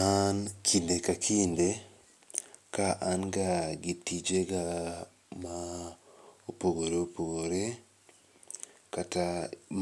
An kinde ka kinde, ka an ga gi tijega maopogore opogore, kata